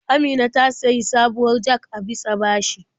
Amina ta sayi sabuwar jag a bisa bashi.